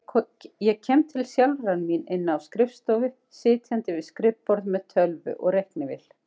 Ég kem til sjálfrar mín inni á skrifstofu, sitjandi við skrifborð með tölvu og reiknivél.